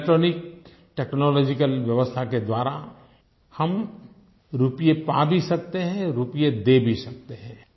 electronic technological व्यवस्था के द्वारा हम रुपये पा भी सकते हैं रुपये दे भी सकते हैं